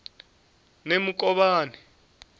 nemukovhani